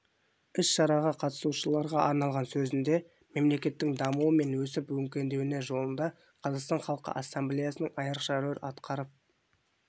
іс-шараға қатысушыларға арнаған сөзінде мемлекеттің дамуы мен өсіп-өркендеуі жолында қазақстан халқы ассамблеясының айрықша рөл атқарып